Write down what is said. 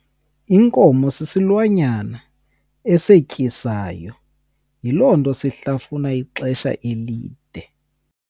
Inkomo sisilwanyana esetyisayo yiloo nto shlafuna ixesha elide.